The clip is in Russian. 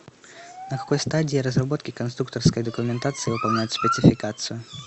на какой стадии разработки конструкторской документации выполняют спецификацию